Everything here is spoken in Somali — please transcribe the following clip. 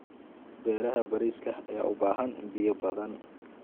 Beeraha bariiska ayaa u baahan biyo badan.